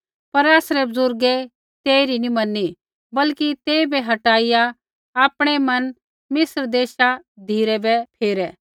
पर आसरै बुज़ुर्गै तेइरी नी मैनी बल्कि तेइबै हटाइआ आपणै मन मिस्र देशा धिराबै फेरै